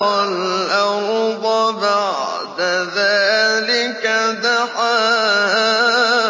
وَالْأَرْضَ بَعْدَ ذَٰلِكَ دَحَاهَا